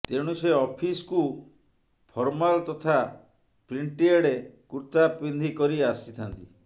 ତେଣୁ ସେ ଅଫିସ କୁ ଫର୍ମାଲ ତଥା ପ୍ରିଣ୍ଟଏଡ଼ କୁର୍ତ୍ତା ପିନ୍ଧି କରି ଆସିଥାନ୍ତି